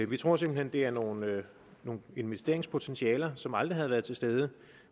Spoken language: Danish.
vi tror simpelt hen det er nogle nogle investeringspotentialer som aldrig havde været til stede